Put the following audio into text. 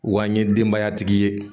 Wa an ye denbaya tigi ye